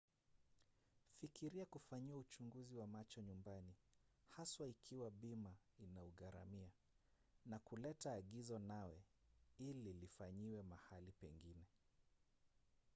fikiria kufanyiwa uchunguzi wa macho nyumbani haswa ikiwa bima inaugharamia na kuleta agizo nawe ili lifailiwe mahali pengine